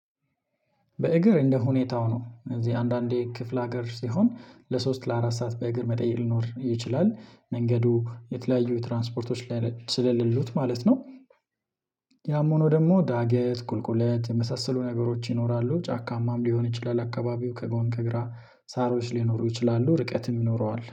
በእግር እንደ ሁኔታው ነው እዚህ አንዳንዴ ክፍለ ሀገር ሲሆን ለሶስት ለአራት ሰዓት በእግር መጠየቅ ሊኖር ይችላል መንገዱ የተለያዩ ትራንስፖርቶች ላይ ስለሌሉት ማለት ነው። ያም ሆኖ ደግሞ ዳገት ቁልቁለት የመሳሰሉ ነገሮች ይኖራሉ ጫካ ምናምን ሊሆን ይችላል አካባቢው ከጎን ከግራ ሳሮች ሊኖሩ ይችላሉ ርቀትም ይኖረዋል